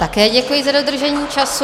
Také děkuji za dodržení času.